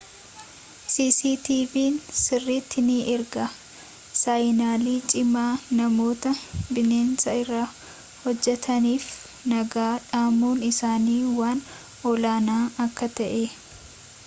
cctv'n sirritti ni ergaa saayinalii cimaa namoota bineensa irratti hojjetaniif nagaa dhamuun isaanii waan olaanaa akka ta'ee